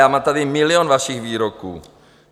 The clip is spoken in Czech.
Já mám tady milion vašich výroků.